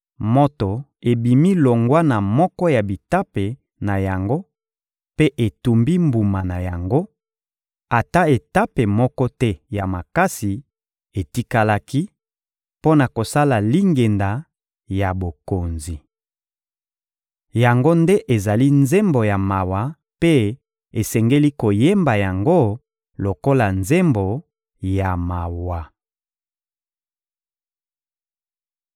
Moto ebimi longwa na moko ya bitape na yango mpe etumbi mbuma na yango; ata etape moko te ya makasi etikalaki mpo na kosala lingenda ya bokonzi.› Yango nde ezali nzembo ya mawa mpe esengeli koyemba yango lokola nzembo ya mawa.»